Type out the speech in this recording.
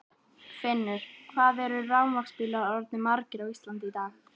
Finnur: Hvað eru rafmagnsbílar orðnir margir á Íslandi í dag?